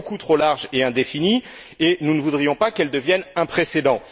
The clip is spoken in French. Elle est beaucoup trop large et indéfinie et nous ne voudrions pas qu'elle devienne un précédent.